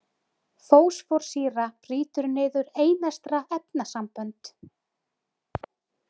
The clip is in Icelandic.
Fósforsýra- brýtur niður einestra efnasambönd.